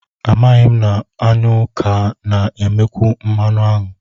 Amaghị m na aṅụ ka na-emekwu mmanụ aṅụ